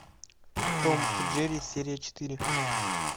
том и джерри серия четыре